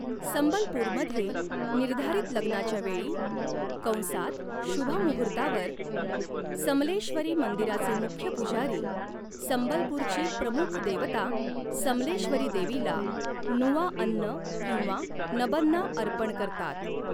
संबलपूरमध्ये, निर्धारित लग्नाच्या वेळी कंसात शुभ मुहूर्तावर, समलेश्वरी मंदिराचे मुख्य पुजारी संबलपूरची प्रमुख देवता समलेश्वरी देवीला नुआ अन्न किंवा नबन्ना अर्पण करतात.